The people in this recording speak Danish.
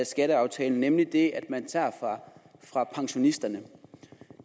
skatteaftalen nemlig det at man tager fra pensionisterne